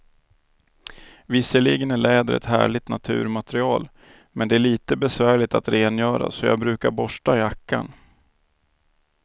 Visserligen är läder ett härligt naturmaterial, men det är lite besvärligt att rengöra, så jag brukar borsta jackan.